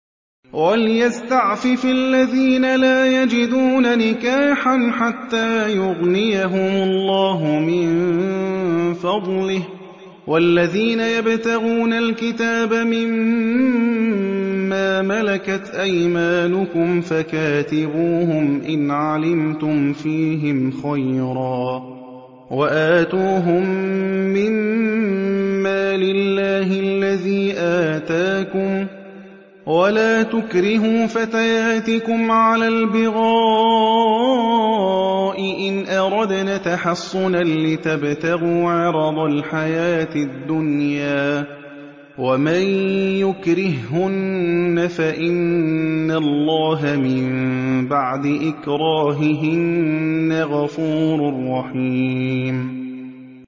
وَلْيَسْتَعْفِفِ الَّذِينَ لَا يَجِدُونَ نِكَاحًا حَتَّىٰ يُغْنِيَهُمُ اللَّهُ مِن فَضْلِهِ ۗ وَالَّذِينَ يَبْتَغُونَ الْكِتَابَ مِمَّا مَلَكَتْ أَيْمَانُكُمْ فَكَاتِبُوهُمْ إِنْ عَلِمْتُمْ فِيهِمْ خَيْرًا ۖ وَآتُوهُم مِّن مَّالِ اللَّهِ الَّذِي آتَاكُمْ ۚ وَلَا تُكْرِهُوا فَتَيَاتِكُمْ عَلَى الْبِغَاءِ إِنْ أَرَدْنَ تَحَصُّنًا لِّتَبْتَغُوا عَرَضَ الْحَيَاةِ الدُّنْيَا ۚ وَمَن يُكْرِههُّنَّ فَإِنَّ اللَّهَ مِن بَعْدِ إِكْرَاهِهِنَّ غَفُورٌ رَّحِيمٌ